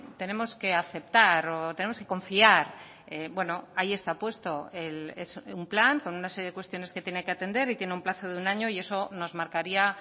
tenemos que aceptar o tenemos que confiar bueno ahí está puesto es un plan con una serie de cuestiones que tiene que atender y tiene un plazo de un año y eso nos marcaría